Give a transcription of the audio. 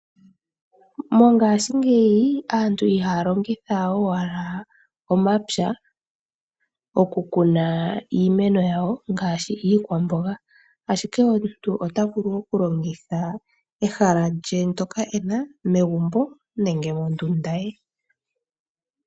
Mongashingeyi, aantu ihaa longitha owala omapya okukuna iimeno yawo ngaashi iikwamboga, ashike omuntu ota vulu okulongitha ehala lye ndyoka e na megumbo nenge mondunda ye.